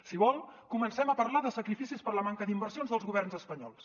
si vol comencem a parlar de sacrificis per la manca d’inversions dels governs espanyols